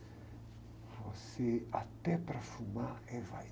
Você, até para fumar, é